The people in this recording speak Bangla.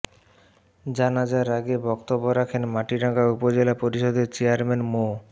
জানাজার আগে বক্তব্য রাখেন মাটিরাঙ্গা উপজেলা পরিষদের চেয়ারম্যান মো